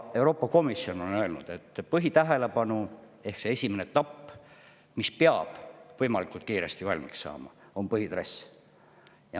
Euroopa Komisjon on öelnud, et põhitähelepanu, see esimene etapp, mis peab võimalikult kiiresti valmis saama, on põhitrass.